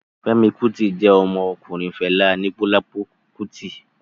Fẹ́mi Kútì jẹ́ ọmọ ọkùnrin Fẹlá Aníkúlápó Kútì